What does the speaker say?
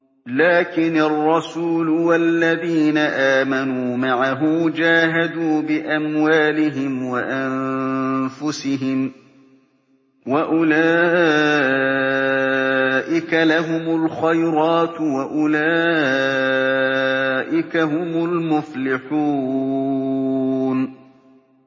لَٰكِنِ الرَّسُولُ وَالَّذِينَ آمَنُوا مَعَهُ جَاهَدُوا بِأَمْوَالِهِمْ وَأَنفُسِهِمْ ۚ وَأُولَٰئِكَ لَهُمُ الْخَيْرَاتُ ۖ وَأُولَٰئِكَ هُمُ الْمُفْلِحُونَ